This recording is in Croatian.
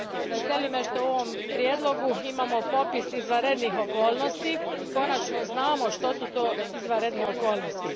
Veseli me što u ovom prijedlog imamo popis izvanrednih okolnosti i što konačno znamo što su to izvandredne okolnosti.